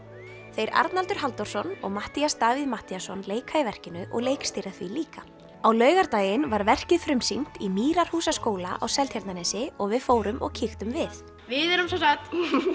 þeir Arnaldur Halldórsson og Matthías Davíð Matthíasson leika í verkinu og leikstýra því líka á laugardaginn var verkið frumsýnt í Mýrarhúsaskóla á Seltjarnarnesi og við fórum og kíktum við við erum semsagt